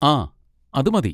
ആ, അത് മതി.